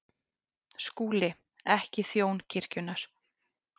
SKÚLI: Ekki þjón kirkjunnar.